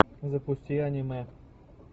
запусти анимэ